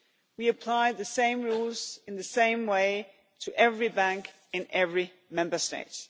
We apply the same rules, in the same way, to every bank, in every Member State.